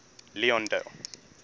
leondale